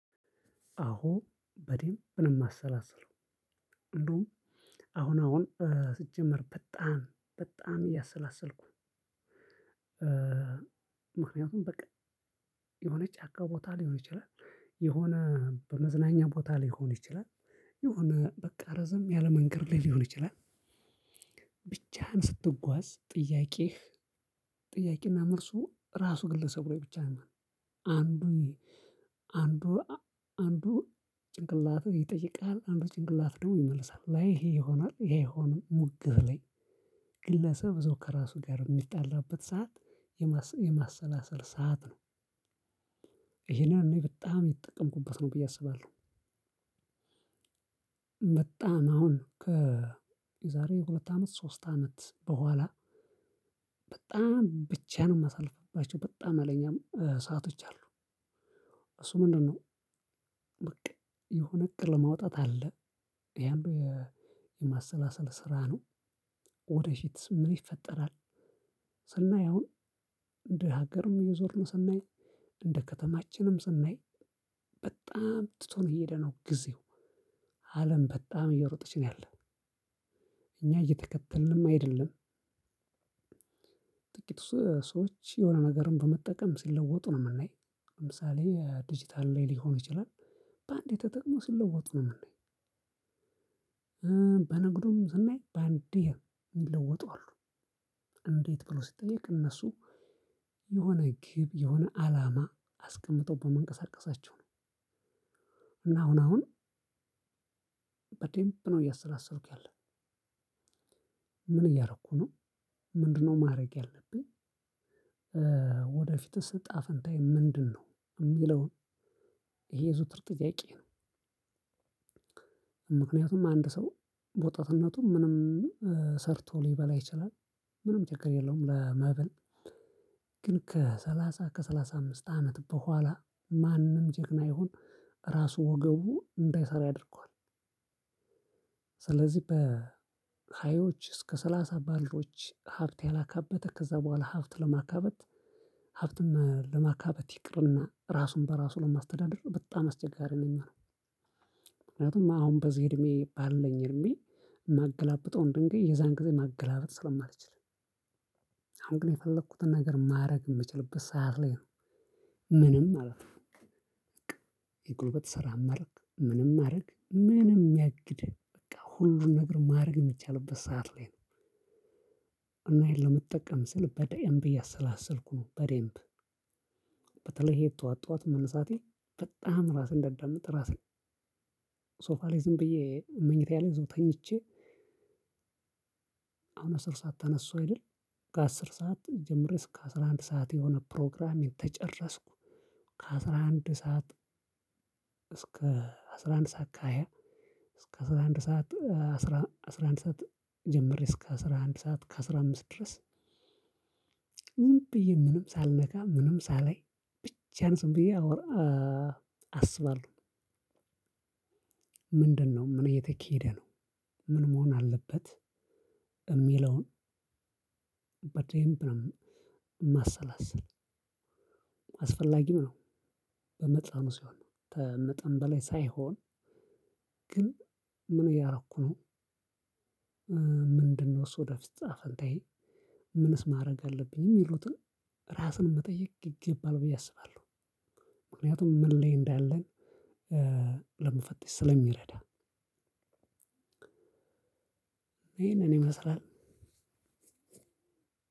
አዎ በደንብ ነው የማሰላስለው። እንደውም አሁን አሁን ሲጀመር በጣም በጣም እያሰላሰልኩ ምክንያቱም በቃ የሆነ ጫካ ቦታ ሊሆን ይችላል። የሆነ በመዝናኛ ቦታ ሊሆን ይችላል። የሆነ በቃ ረዘም ያለ መንገድ ላይ ሊሆን ይችላል። ብቻህን ስትጓዝ ጥያቄህ ጥያቄና መልሱ ራሱ ግለሰብ ላይ ብቻ ነው። አንዱ አንዱ አንዱ ጭንቅላቱ ይጠይቃል አንዱ ጭንቅላት ደግሞ ይመልሳል። አይ ይሄ ይሆናል ይሄ አይሆንም ሙግብ ላይ ግለሰብ እዛው ከራሱ ጋር የሚጣላበት ሰዓት የማሰ የማሰላሰል ሰዓት ነው። ይሄንን በጣም የተጠቀምኩበት ነው ብዬ አስባለሁ። በጣም አሁን ከዛሬ ሁለት አመት ሶስት አመት በኋላ በጣም ብቻየን የማሳልፍባቸው በጣም ሀይለኛ ሰአቶች አሉ። እሱ ምንድነው፣ በቃ የሆነ እቅድ ለማውጣት አለ። አንዱ የማሰላሰል ስራ ነው። ወደ ፊትስ ምን ይፈጠራል? ስናይ አሁን፣ እንደ ሀገርም እየዞርን ስናይ፣ እንደ ከተማችንም ስናይ በጣም ትቶን እየሄደ ነው ጊዜው። አለም በጣም እየሮጠች ነው ያለ። እኛ እየተከተልንም አይደለም። ጥቂት ሰ ሰዎች የሆነ ነገርን በመጠቀም ሲለወጡ ነው የምናይ። ለምሳሌ ዲጂታል ላይ ሊሆን ይችላል። በአንዴ ተጠቅመው ሲለወጡ ነው የምናይ። በንግዱም ስናይ በአንዴ የሚለወጡ አሉ። እንዴት ብሎ ሲጠየቅ እነሱ የሆነ ግብ የሆነ አላማ አስቀምጠው በመንቀሳቀሳቸው ነው። እና አሁን አሁን በደንብ ነው እያሰላሰልኩ ያለሁት። ምን እያደረኩ ነው? ምንድነው ማድረግ ያለብኝ? ወደፊትስ እጣ ፈንታዬ ምንድነው? የሚለውን ይሄ የዘወትር ጥያቄ ነው። ምክንያቱም አንድ ሰው በወጣትነቱም ምንም ሰርቶ ሊበላ ይችላል። ምንም ችግር የለውም ለመብል። ግን ከሰላሳ ከሰላሳ አምስት አመት በኋላ ማንም ጀግና ይሁን ራሱ ወገቡ እንዳይሰራ ያደርገዋል። ስለዚህ በሃዮች እስከ ሰላሳ ባሉዎች ሀብት ያላካበት ከዛ በኋላ ሀብት ለማካበት ሀብትን ለማካበት ይቅርና ራሱን በራሱ ለማስተዳደር በጣም አስቸጋሪ ነው የሚሆነው። ምክንያቱም አሁን በዚህ እድሜ ባለኝ እድሜ ማገላብጠውን ድንጋይ የዛን ጊዜ ማገላበጥ ስለማልችል አሁን ግን የፈለኩትን ነገር ማድረግ የምችልበት ሰዓት ላይ ነው። ምንም ማለት ነው። የጉልበት ስራም አርግ ምንም አርግ ምንም ያግድህ በቃ ሁሉን ነገር ማድረግ የሚቻልበት ሰዓት ላይ ነው። እና ይሄን ለመጠቀም ስል በደንብ እያሰላሰልኩ ነው። በደንብ በተለይ ይሄ ጠዋት ጠዋት መነሳቴ በጣም ራሴን እንዳዳምጥ ራሴን ሶፋ ላይ ዝምብዬ መኝታየ ላይ ተኝቼ አሁን አስር ሰዓት ተነሳሁ አይደል፣ ከአስር ሰዓት ጀምሬ እስከ አስራ አንድ ሰዓት የሆነ ፕሮግራሚንግ ተጨረስኩ፣ ከአስራ አንድ ሰዓት እስከ ሰዓት ከሃያ እስከ አስራ አንድ ሰዓት አስራ አስራ አንድ ሰዓት ጀምሬ እስከ አስራ አንድ ሰዓት ከአስራ አምስት ድረስ ዝምብየ ምንም ሳልነካ ምንም ሳላይ ብቻየን ዝምብዬ አወራ አስባለሁ። ምንድነው፣ ምን እየተካሄደ ነው፣ ምን መሆን አለበት፣ የሚለውን በደምብ ነው ማሰላሰል። አስፈላጊም ነው። በመጠኑ ሲሆን። ተመጠን በላይ ሳይሆን ግን ምን እያደረኩ ነው፣ ምንድነው እሱ ወደፊት እጣፈንታዬ፣ ምንስ ማድረግ አለብኝ፣ የሚሉትን ራስን መጠየቅ ይገባል ብዬ አስባለሁ። ምክንያቱም ምን ላይ እንዳለን ለመፈተሽ ስለሚረዳ። ይሄንን ይመስላል።